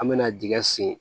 An me na dingɛ sen